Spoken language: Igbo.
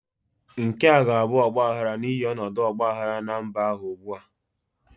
Nke a ga-abụ ọgbaghara n'ihi ọnọdụ ọgba aghara na mba ahụ ugbu a.